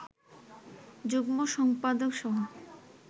যুগ্ম সম্পাদক সহ